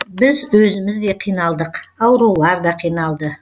біз өзіміз де қиналдық аурулар да қиналды